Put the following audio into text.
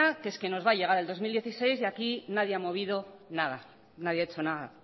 que nos va a llegar el dos mil dieciséis y aquí nadie ha movido nada nadie ha hecho nada